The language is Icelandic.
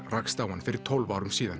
rakst á hann fyrir tólf árum síðan